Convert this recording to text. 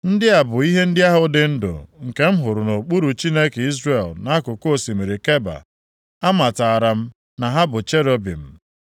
Ndị a bụ ihe ndị ahụ dị ndụ, nke m hụrụ nʼokpuru Chineke Izrel nʼakụkụ osimiri Keba, amatara m na ha bụ cherubim.